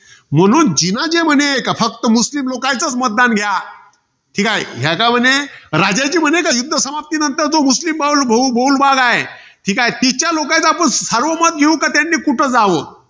म्हणून जिना जे म्हणे. के फक्त मुस्लीम लोकांचच मत घ्या. ठीकाय. हे राजाजी म्हणे, युध्द समाप्तीनंतर जो मुस्लीम भाउल~ बहुल भाग हाये. ठीकाय, तिथल्या लोकांच सार्वमत घेऊ का त्यांनी कुठं जावं.